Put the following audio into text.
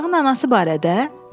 “Uşağın anası barədə?”